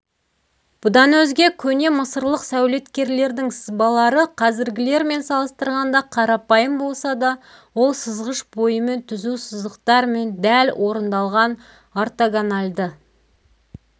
бұдан өзге көне мысырлық сәулеткерлердің сызбалары қазіргілермен салыстырғанда қарапайым болса да ол сызғыш бойымен түзу сызықтармен дәл орындалған ортогональды